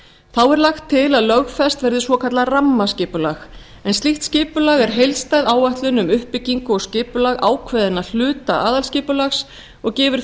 þá er lagt til að lögfest verði svokallað rammaskipulag en slíkt skipulag er heildstæð áætlun um uppbyggingu og skipulag ákveðinna hluta aðalskipulags og gefur